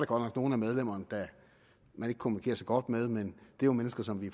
godt nok nogle af medlemmerne man ikke kommunikerer så godt med men det jo mennesker som vi